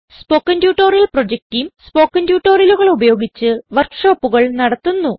spoken tutorial project team spoken ട്യൂട്ടോറിയലുകൾ ഉപയോഗിച്ച് work ഷോപ്പുകൾ നടത്തുന്നു